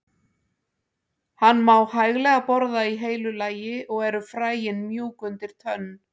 Hann má hæglega borða í heilu lagi og eru fræin mjúk undir tönn.